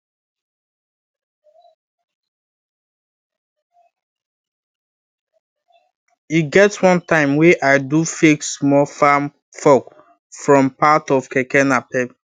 e get one time wey i do fake small farm fork from part of keke napep